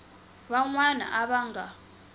van wana a va nga